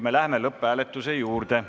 Me läheme lõpphääletuse juurde.